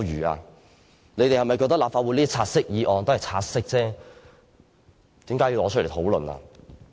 他們是否覺得立法會的"察悉議案"只需察悉而無須討論？